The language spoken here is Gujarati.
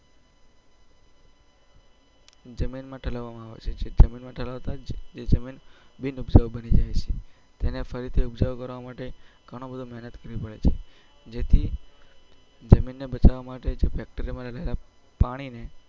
જમીન માં થાલાવાવામો આવે છે જે જમીન માં ઠાલવતા જ જમીન બિન ઉપજાવું બાજી જાય છે તેને ફરીથી ઉપજવું કરવા માટે ગણી બધી મેહનત કરવી પડે છે જેથી જમીન ને બચવા માટે Factory માં રહેલા પાણીને